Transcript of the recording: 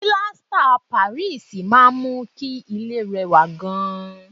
Pilasita tí Paris máa ń mú kí ilẹ̀ rẹ wà gan